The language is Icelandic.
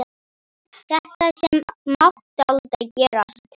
Þetta sem mátti aldrei gerast.